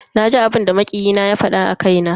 Naji abinda makiyi na ya fada a kaina.